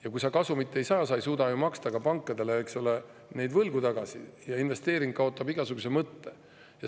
Ja kui kasumit ei saa, ei suuda nad maksta ka pankadele võlgu tagasi ja investeering kaotab igasuguse mõtte.